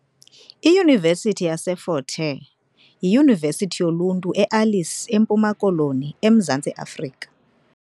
IYunivesithi yaseFort Hare yiyunivesithi yoluntu e Alice, eMpuma Koloni, eMzantsi Afrika .